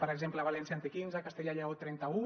per exemple valència en té quinze castella i lleó trenta un